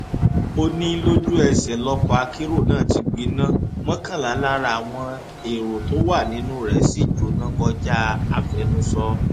ó ní lójúẹsẹ lọkọ akérò náà ti gbiná mọkànlá lára àwọn ẹrọ tó wà nínú rẹ sì jóná kọjá àfẹnusọ